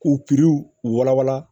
K'u u walawala